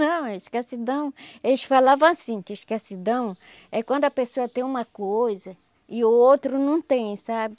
Não, escassidão... Eles falavam assim, que escassidão é quando a pessoa tem uma coisa e o outro não tem, sabe?